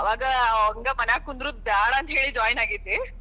ಆವಾಗ ಹಂಗ ಮನ್ಯಾಗ ಕುಂದರುದ ಬೇಡ ಅಂತ ಹೇಳಿ join ಆಗಿದ್ದೆ.